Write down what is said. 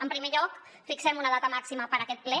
en primer lloc fixem una data màxima per a aquest ple